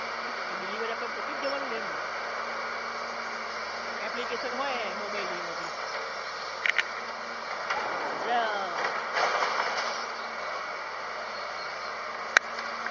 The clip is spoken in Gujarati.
એટલે delivery આપવા માટે આપણે પોતે જ જવાનું ને એમ application હોય mobile ની એમાં થી એટલે